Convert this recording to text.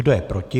Kdo je proti?